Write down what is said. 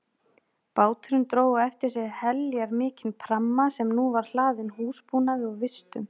Báturinn dró á eftir sér heljarmikinn pramma sem nú var hlaðinn húsbúnaði og vistum.